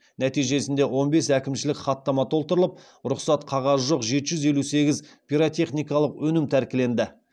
нәтижесінде он бес әкімшілік хаттама толтырылып рұқсат қағазы жоқ жеті жүз елу сегіз пиротехникалық өнім тәркіленді